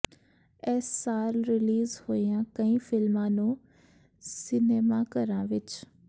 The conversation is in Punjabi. ਇਸ ਸਾਲ ਰਿਲੀਜ਼ ਹੋਈਆਂ ਕਈ ਫਿਲਮਾਂ ਨੂੰ ਸਿਨੇਮਾਘਰਾਂ ਵਿੱਚ